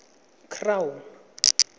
crown